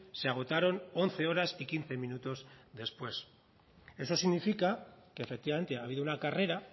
se agotaron once horas y quince minutos después eso significa que efectivamente ha habido una carrera